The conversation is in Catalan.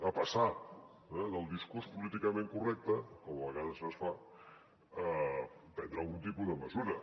a passar del discurs políticament correcte com a vegades es fa a prendre algun tipus de mesura